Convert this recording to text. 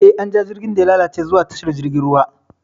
Eh, an ja jirgin da ya lalace zuwa tashar jirgin ruwa.